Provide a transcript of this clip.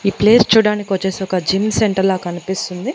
ఈ ప్లేస్ చూడ్డానికొచ్చేసి ఒక జిమ్ సెంటర్ లా కనిపిస్తుంది.